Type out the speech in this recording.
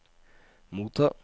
motta